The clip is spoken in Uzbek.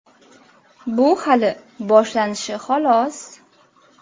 Bu hali boshlanishi, xolos.